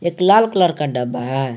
लाल colour का डब्बा है।